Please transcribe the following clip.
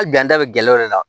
A ganda bɛ gɛlɛya o de la